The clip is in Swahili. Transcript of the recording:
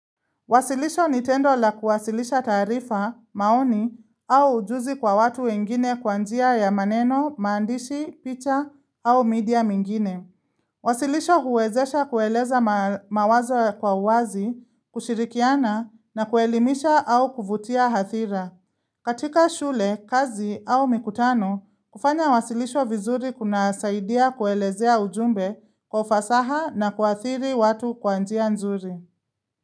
Wasilisho ni tendo la kuwasilisha taarifa, maoni, au ujuzi kwa watu wengine kwa njia ya maneno, maandishi, picha au media mingine. Wasilisho huwezesha kueleza mawazo kwa uwazi, kushirikiana na kuelimisha au kuvutia hathira. Katika shule, kazi au mikutano, kufanya wasilisho vizuri kuna saidia kuelezea ujumbe kwa ufasaha na kuathiri watu kwa njia nzuri.